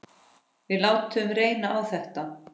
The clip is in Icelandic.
Við látum reyna á þetta.